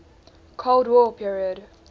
cold war period